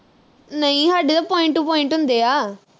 ਨਹੀਂ ਹਾਡੇ ਤਾ point to point ਹੁੰਦੇ ਆ